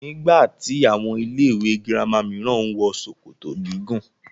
Nígbà tí àwọn ilé ìwé gírámà mìíràn ń wọ ṣòkòtò gígùn.